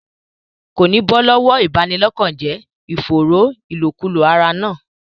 Kò ní bọ́ lọ́wọ́ ìbanilọ́kànjẹ́ ìfòòró ìlòkulò ara náà.